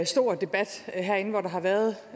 stor debat herinde hvor der har været